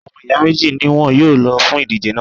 Àwọn ọmọ ìyá méjì ni wọn yóò lọ fún ìdíje náà